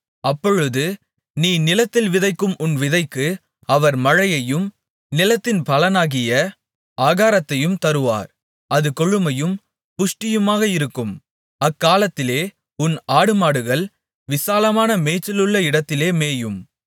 அப்பொழுது நீ நிலத்தில் விதைக்கும் உன் விதைக்கு அவர் மழையையும் நிலத்தின் பலனாகிய ஆகாரத்தையும் தருவார் அது கொழுமையும் புஷ்டியுமாக இருக்கும் அக்காலத்திலே உன் ஆடுமாடுகள் விசாலமான மேய்ச்சலுள்ள இடத்திலே மேயும்